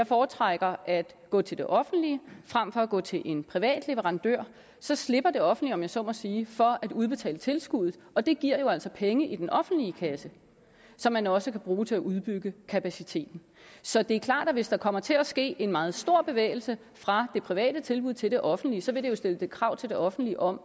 foretrækker at gå til det offentlige frem for at gå til en privat leverandør så slipper det offentlige om jeg så må sige for at udbetale tilskud og det giver jo altså penge i den offentlige kasse som man også kan bruge til at udbygge kapaciteten så det er klart at hvis der kommer til at ske en meget stor bevægelse fra det private tilbud til det offentlige vil det jo stille krav til det offentlige om